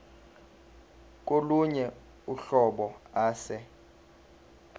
kolunye uhlobo ase